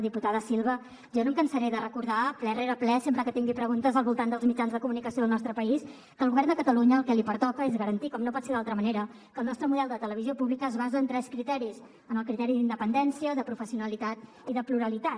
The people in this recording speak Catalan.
diputada silva jo no em cansaré de recordar ple rere ple sempre que tingui preguntes al voltant dels mitjans de comunicació del nostre país que al govern de catalunya el que li pertoca és garantir com no pot ser d’altra manera que el nostre model de televisió pública es basa en tres criteris en el criteri d’independència de professionalitat i de pluralitat